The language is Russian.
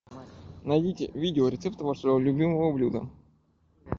найдите видео рецепт вашего любимого блюда